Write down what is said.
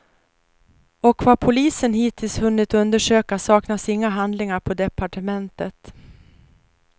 Och vad polisen hittills hunnit undersöka saknas inga handlingar på departementet.